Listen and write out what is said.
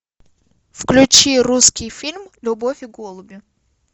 включи русский фильм любовь и голуби